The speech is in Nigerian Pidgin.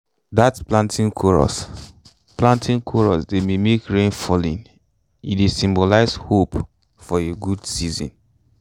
dat planting chorus planting chorus dey mimic rain falling e dey symbolize hope for a good season